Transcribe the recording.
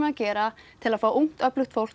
að gera til að fá ungt öflugt fólk